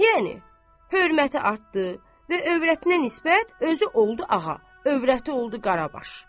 Yəni hörməti artdı və övrətinə nisbət özü oldu ağa, övrəti oldu Qarabaş.